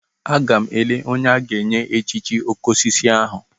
Agam ele onye a ga-enye echichi okosisi ahu.